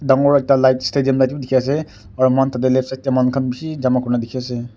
dangor ekta light stadium light bhi dikhi ase aro mohan tadey left side manu khan bishi jama kurina dikhi ase.